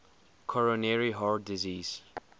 coronary heart disease